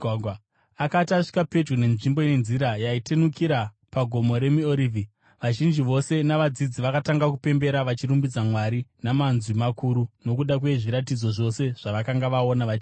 Akati asvika pedyo nenzvimbo ine nzira yaitenukira paGomo reMiorivhi, vazhinji vose vavadzidzi vakatanga kupembera vachirumbidza Mwari namanzwi makuru nokuda kwezviratidzo zvose zvavakanga vaona, vachiti: